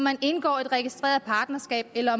at indgå et registreret partnerskab eller